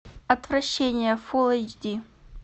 отвращение фул эйч ди